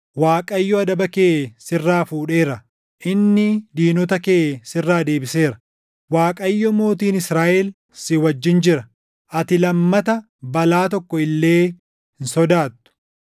Waaqayyo adaba kee sirraa fuudheera; inni diinota kee sirraa deebiseera. Waaqayyo Mootiin Israaʼel, si wajjin jira; ati lammata balaa tokko illee hin sodaattu.